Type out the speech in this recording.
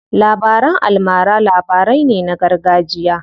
Labaran almara labarai ne na gargajiya.